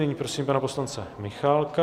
Nyní prosím pana poslance Michálka.